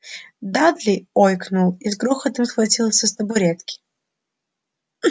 дадли ойкнул и с грохотом свалился с табуретки